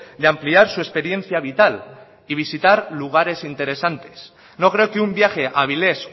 de ampliar su experiencia vital y visitar lugares interesantes no creo que un viaje a avilés